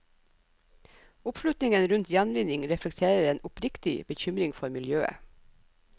Oppslutningen rundt gjenvinning reflekterer en oppriktig bekymring for miljøet.